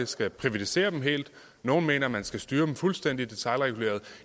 skal privatisere dem helt nogle mener at man skal styre dem fuldstændig detailreguleret